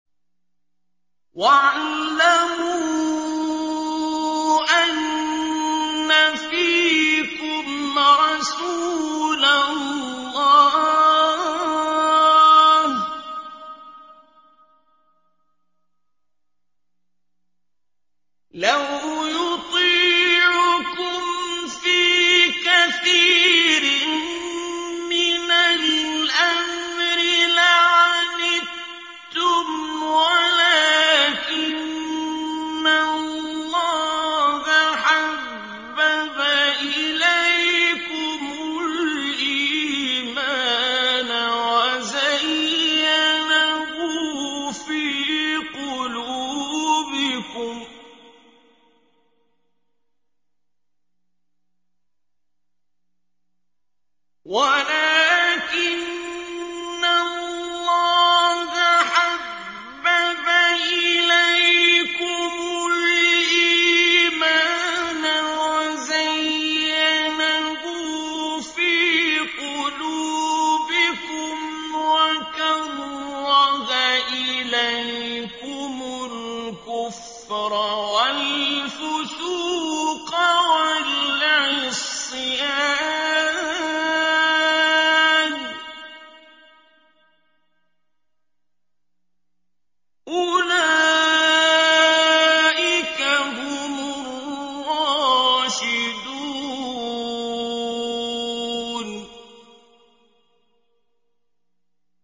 وَاعْلَمُوا أَنَّ فِيكُمْ رَسُولَ اللَّهِ ۚ لَوْ يُطِيعُكُمْ فِي كَثِيرٍ مِّنَ الْأَمْرِ لَعَنِتُّمْ وَلَٰكِنَّ اللَّهَ حَبَّبَ إِلَيْكُمُ الْإِيمَانَ وَزَيَّنَهُ فِي قُلُوبِكُمْ وَكَرَّهَ إِلَيْكُمُ الْكُفْرَ وَالْفُسُوقَ وَالْعِصْيَانَ ۚ أُولَٰئِكَ هُمُ الرَّاشِدُونَ